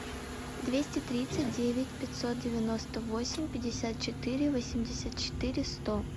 двести тридцать девять пятьсот девяносто восемь пятьдесят четыре восемьдесят четыре сто